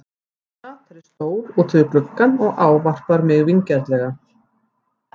Hann sat þar í stól úti við gluggann og ávarpar mig vingjarnlega.